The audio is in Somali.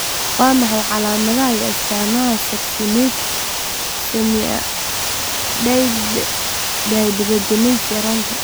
Waa maxay calaamadaha iyo astaamaha Succinic semialdehyde dehydrogenase yaraanta?